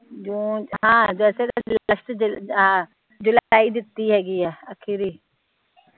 ਜੁਲਾਈ ਦਿਤੀ ਹੇਗੀ ਆ ਅਕੀ ਦੀ